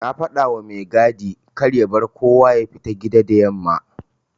Na fadawa mai gadi karya bar kowa yafita gida da yamma.\